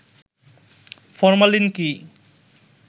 formalin কি